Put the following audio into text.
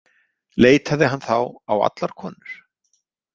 Leitaði hann þá á allar konur?